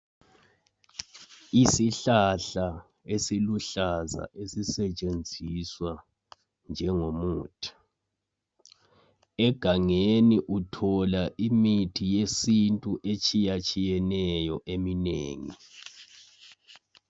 Isihlahla esiluhlaza esisetshenziswa njengomuthi. Egangeni uthola imithi yesintu etshiyatshiyeneyo eminengi.